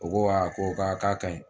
U ko o ko k'a ka ɲi